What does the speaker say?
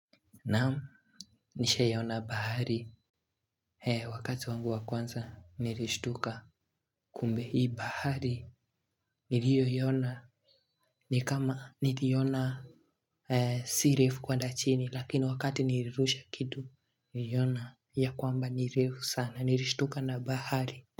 Naamu nishawahi ona bahari wakati wangu wakwanza nilishtuka kumbe hii bahari niliyo iona nikama niliona sirefu kwenda chini lakini wakati nilirusha kitu nilona ya kwamba nirefu sana nilishtuka na bahari.